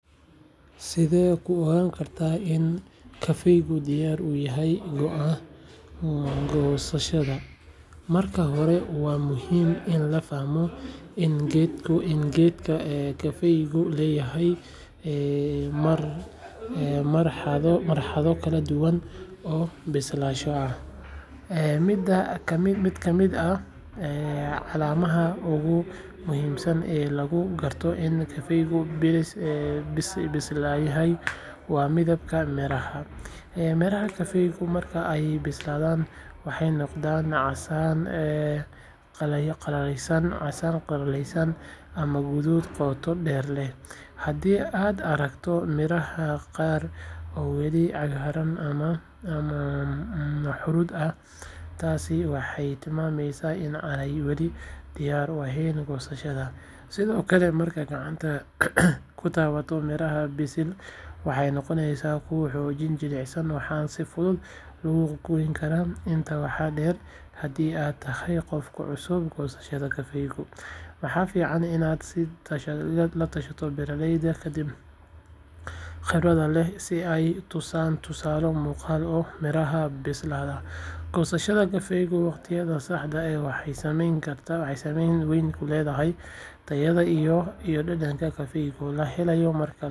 Sidee ku ogaan kartaa in kafeegu diyaar u yahay goosashada? Marka hore, waa muhiim in la fahmo in geedka kafeygu leeyahay marxalado kala duwan oo bislaansho ah. Mid ka mid ah calaamadaha ugu muhiimsan ee lagu garto in kafeegu bisil yahay waa midabka miraha. Miraha kafeyga marka ay bislaadaan waxay noqdaan casaan dhalaalaya ama guduud qoto dheer leh. Haddii aad aragto miraha qaar oo weli cagaaran ama huruud ah, taasi waxay tilmaamaysaa in aanay weli diyaar u ahayn goosashada. Sidoo kale, markaad gacanta ku taabato miraha bisil, waxay noqonayaan kuwo xoogaa jilicsan, waxaana si fudud lagu goyn karaa. Intaa waxaa dheer, haddii aad tahay qof ku cusub goosashada kafeyga, waxaa fiican inaad la tashato beeraleyda khibradda leh si ay kuu tusaan tusaalooyin muuqda oo miraha bisil ah. Goosashada kafeega waqtigeeda saxda ah waxay saameyn weyn ku leedahay tayada iyo dhadhanka kafeyga la helayo marka la shiido. Haddii aad si degdeg ah u goosato ama aad sugto muddo dheer, miraha waxay lumin karaan tayadooda. Sidaas darteed, fiiro gaar ah u yeelo midabka, taabashada, iyo la-tashiga dadka aqoonta u leh si aad u goosato kafeeg tayo leh.